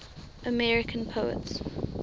american poets